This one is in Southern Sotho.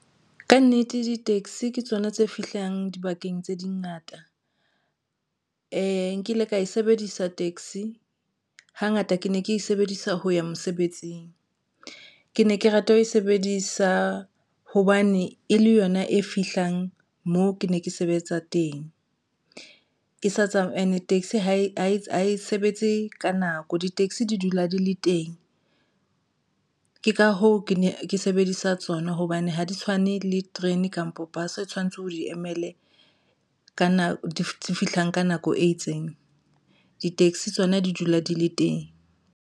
Ka nnete, di-taxi ke tsona tse fihlang dibakeng tse dingata nkile ka e sebedisa taxi hangata ke ne ke e sebedisa ho ya mosebetsing. Ke ne ke rata ho e sebedisa hobane e le yona e fihlang moo ke ne ke sebetsa teng, ke sa and taxi ha e sebetse ka nako di-taxi di dula di le teng, ke ka hoo ke ne ke sebedisa tsona hobane ne ha di tshwane le terene kampo bus o tshwanetse o di emele ka nako di fihlang ka nako e itseng, di-taxi tsona di dula di le teng.